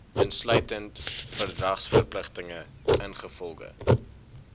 insluitend verdragsverpligtinge ingevolge